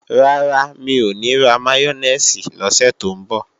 Rárá, mi ò ní ra máyónèsì lọ́sẹ̀ tó ń bọ̀